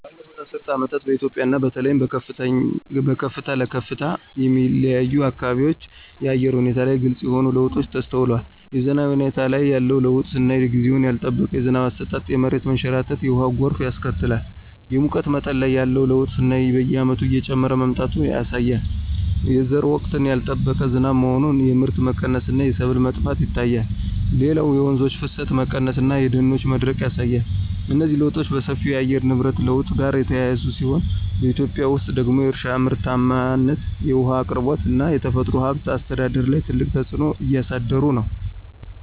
ባለፉት አስርት ዓመታት በኢትዮጵያ እና በተለይም በከፍታ ለከፍታ የሚለያዩ አካባቢዎች የአየር ሁኔታ ላይ ግልጽ የሆኑ ለውጦች ተስተውለዋል። የዝናብ ሁኔታ ላይ ያለው ለውጥ ስናይ ጊዜውን ያልጠበቀ የዝናብ አሰጣጥ የመሬት መንሸራተትና የውሃ ጎርፍ ያስከትላል። የሙቀት መጠን ላይ ያለው ለውጥ ስናይ በየዓመቱ እየጨመረ መምጣቱ ያሳያል። የዘር ወቅት ያልጠበቀ ዝናብ መሆን የምርት መቀነስ እና የሰብል መጥፋት ይታያል። ሌላው የወንዞች ፍሰት መቀነስ እና የደኖች መድረቅ ያሳያል። እነዚህ ለውጦች በሰፊው ከየአየር ንብረት ለውጥ ጋር የተያያዙ ሲሆን፣ በኢትዮጵያ ውስጥ ደግሞ የእርሻ ምርታማነት፣ የውሃ አቅርቦት እና የተፈጥሮ ሀብት አስተዳደር ላይ ትልቅ ተጽዕኖ እያሳደሩ ነው።